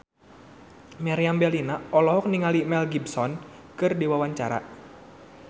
Meriam Bellina olohok ningali Mel Gibson keur diwawancara